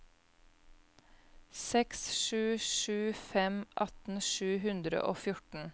seks sju sju fem atten sju hundre og fjorten